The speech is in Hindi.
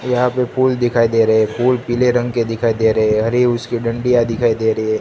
यहां पे फूल दिखाई दे रहे हैं फूल पीले रंग के दिखाई दे रहे हैं अरे उसकी डंडिया दिखाई दे रही है।